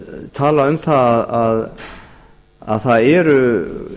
tala um það að það eru